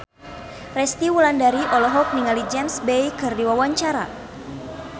Resty Wulandari olohok ningali James Bay keur diwawancara